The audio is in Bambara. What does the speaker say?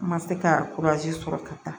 N ma se ka sɔrɔ ka taa